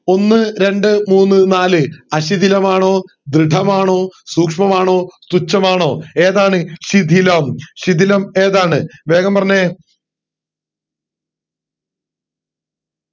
ഒന്ന് രണ്ട്മൂന്ന് നാല് ആശിദിനമാണോ ധൃഢമാണോ സൂക്ഷ്മമാണോ തുച്ഛമാണോ ഏതാണ് ശിഥിലം ശിഥിലം ഏതാണ്